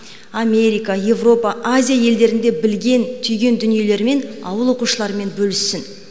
америка европа азия елдерінде білген түйген дүниелерімен ауыл оқушыларымен бөліссін